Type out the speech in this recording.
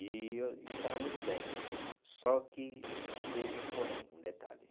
E eu eu estava muito bem, só que teve um porém, um detalhe.